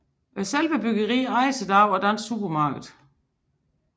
Selve byggeriet ejes i dag af Dansk Supermarked